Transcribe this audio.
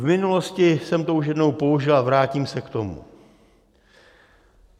V minulosti jsem to už jednou použil a vrátím se k tomu.